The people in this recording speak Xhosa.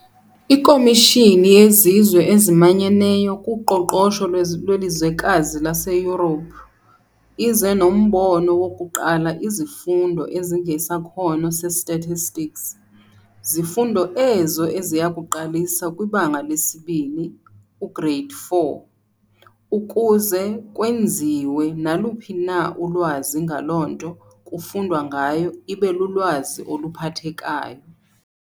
Ikomishini yezizwe ezimanyeneyo kuqoqosho lwelizwekazi laseYurophu, ize nombono wokuqala izifundo ezingesakhono se-stastistics, zifundo ezo eziyakuqalisa kwibanga lesi-2, u-grade 4, ukuze kwenziwe naluphi na ulwazi ngaloo nto kufundwa ngayo ibe lulwazi oluphathekayo.